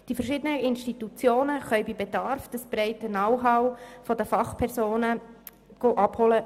Die verschiedenen Institutionen können bei Bedarf das breite Know-how der Fachpersonen der Beges abholen.